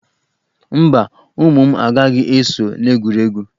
Mba, ụmụ m, agaghị eso n'egwuregwu